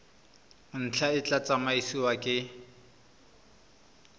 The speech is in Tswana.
ntlha e tla tsamaisiwa ke